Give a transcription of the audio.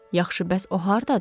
Yaxşı, bəs o hardadır?